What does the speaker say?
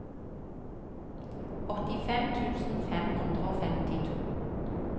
åttifem tusen fem hundre og femtito